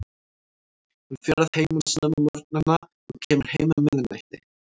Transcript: Hann fer að heiman snemma á morgnana og kemur heim um miðnætti.